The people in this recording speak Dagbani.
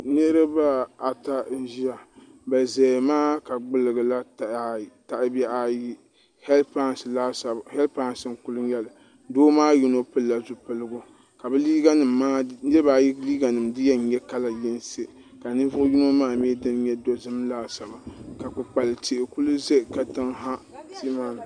Nachimbi ata n ʒɛya bi ʒɛya maa ka gbuli gila tahabihi ayi heed pais n kuli nyɛli doo maa yino pilila zipiligu ka niraba ayi liiga nim di yɛn nyɛ kala yinsi ka ninvuɣu yino maa mii dini nyɛ dozim laasabu ka kpukpali tihi ku ʒɛ katiŋ ha